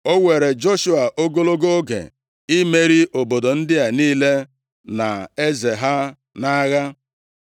O were Joshua ogologo oge imeri obodo ndị a niile na eze ha nʼagha.